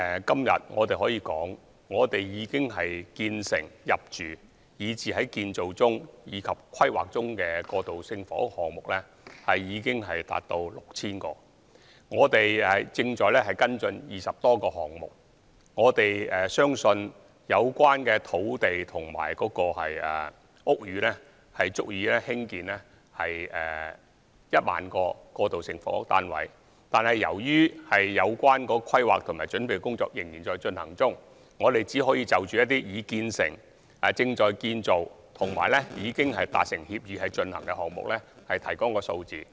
今天我可以指出，現時建成、入住、以至在建造及規劃中的過渡性房屋單位數目已達 6,000 個，而我們亦正在跟進20多個項目，相信有關土地和屋宇足以興建1萬個過渡性房屋單位，但由於有關的規劃及準備工作仍在進行中，因此我們現時只能夠就一些已建成、正在建造及已達成協議推行的項目提供數字。